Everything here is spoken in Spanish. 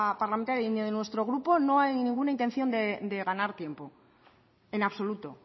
parlamentaria ni de nuestro grupo no hay ninguna intención de ganar tiempo en absoluto